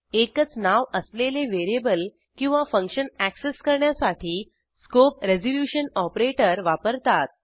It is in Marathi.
एकच नाव असलेले व्हेरिएबल किंवा फंक्शन अॅक्सेस करण्यासाठी स्कोप रेझोल्युशन ऑपरेटर वापरतात